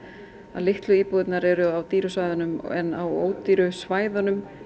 að litlu íbúðirnar eru á dýru svæðunum en á ódýru svæðunum